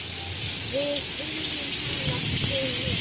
Við viljum hafa þig með.